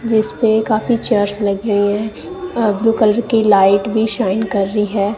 जिसपे काफी चेयर्स लगी हुई है अ ब्लू कलर की लाइट भी शाइन कर रही है।